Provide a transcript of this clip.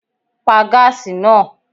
Pa gaasi naa!